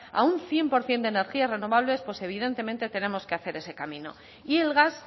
a un cien por ciento de energías renovables pues evidentemente tenemos que hacer ese camino y el gas